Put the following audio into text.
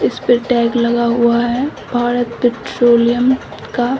इस पर टैग लगा हुआ है भारत पेट्रोलियम का।